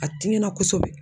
A tiɲɛna kosɛbɛ